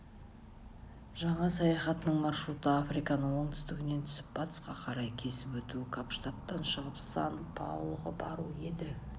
жаңа саяхатының маршруты африканы оңтүстігінен түсіп батысқа қарай кесіп өту капштадтан шығып сан-паолоға бару еді